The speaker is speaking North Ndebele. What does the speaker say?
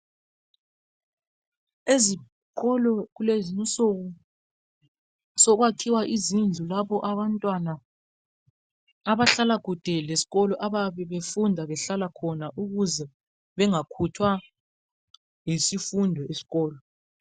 Ezikolo kulezinsuku sokwakhiwa izindlu lapho abantwana abahlala khatshana lesikolo abayabe befunda behlala khona ukuze bangakhuthwa yizifundo esikolo.